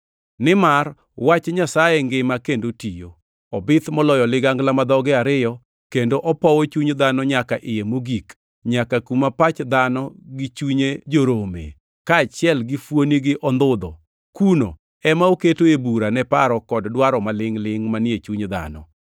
Nimar wach Nyasaye ngima kendo tiyo. Obith moloyo ligangla ma dhoge ariyo, kendo opowo chuny dhano nyaka iye mogik, nyaka kuma pach dhano gi chunye jorome, kaachiel gi fuoni gi ondhudho. Kuno ema oketoe bura ne paro kod dwaro malingʼ-lingʼ manie chuny dhano.